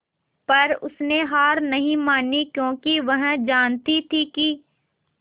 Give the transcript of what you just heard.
पर उसने हार नहीं मानी क्योंकि वह जानती थी कि